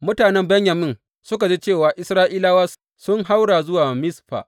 Mutanen Benyamin suka ji cewa Isra’ilawa sun haura zuwa Mizfa.